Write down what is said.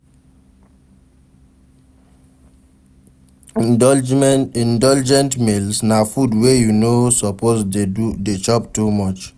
Indulgent meals na food wey you no suppose de chop too much